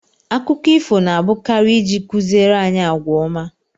Akụkọ ifo na abụkarị ịji kụziere anyị àgwà ọma